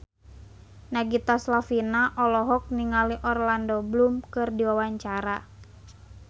Nagita Slavina olohok ningali Orlando Bloom keur diwawancara